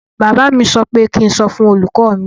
Bàbá mi sọ pé kí ń sọ fún olùkọ mi.